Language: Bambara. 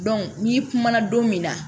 n'i kumana don min na